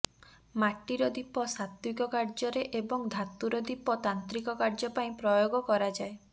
ମାଟିର ଦୀପ ସାତ୍ତ୍ବିକ କାର୍ଯ୍ୟରେ ଏବଂ ଧାତୁର ଦୀପ ତାନ୍ତ୍ରିକ କାର୍ଯ୍ୟ ପାଇଁ ପ୍ରୟୋଗ କରାଯାଏ